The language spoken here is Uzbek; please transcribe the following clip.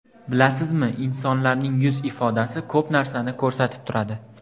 Bilasizmi, insonlarning yuz ifodasi ko‘p narsani ko‘rsatib turadi.